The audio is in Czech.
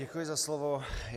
Děkuji za slovo.